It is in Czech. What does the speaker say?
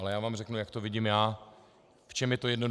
Ale já vám řeknu, jak to vidím já, v čem je to jednoduché.